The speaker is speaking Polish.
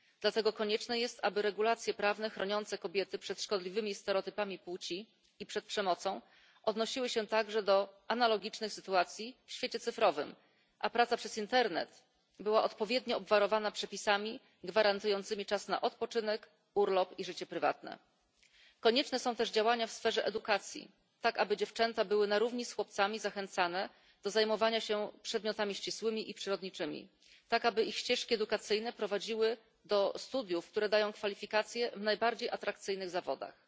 Dlatego konieczne jest, aby regulacje prawne chroniące kobiety przed szkodliwymi stereotypami płci i przed przemocą odnosiły się także do analogicznych sytuacji w świecie cyfrowym, a praca przez internet była odpowiednio obwarowana przepisami gwarantującymi czas na odpoczynek, urlop i życie prywatne. Konieczne są też działania w sferze edukacji, tak aby dziewczęta były na równi z chłopcami zachęcane do zajmowania się przedmiotami ścisłymi i przyrodniczymi i aby ich ścieżki edukacyjne prowadziły do studiów, które dają kwalifikacje w najbardziej atrakcyjnych zawodach.